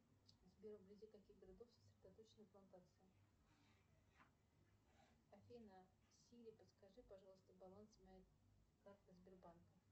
сбер вблизи каких городов сосредоточены плантации афина сири подскажи пожалуйста баланс моей карты сбербанка